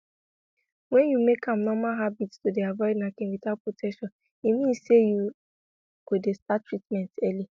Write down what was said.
wen you make am normal habit to dey avoid knacking without protection e mean say you go dey start treatment early